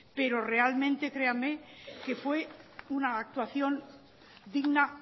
pero realmente créanme que fue una actuación digna